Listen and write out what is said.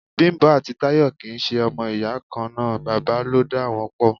Bimpe àti Tayọ kì í ṣe ọmọ ìyá kan náà, bàbá ló dá wọn pò.